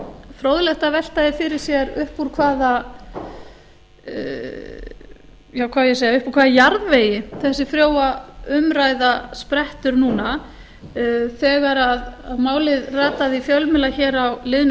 fróðlegt að velta því fyrir sér upp úr hvaða hvað á ég að segja upp úr hvaða jarðvegi þessi frjóa umræða sprettur núna þegar málið rataði í fjölmiðla hér á liðnu